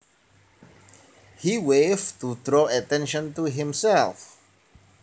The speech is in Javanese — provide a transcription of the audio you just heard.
He waved to draw attention to himself